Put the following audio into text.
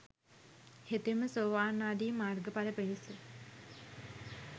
හෙතෙම සෝවාන් ආදී මාර්ගඵල පිණිස